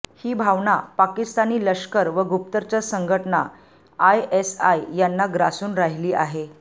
ही भावना पाकिस्तानी लष्कर व गुप्तचर संघटना आयएसआय यांना ग्रासून राहिली आहे